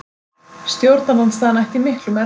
Stjórnarandstaðan ætti í miklum erfiðleikum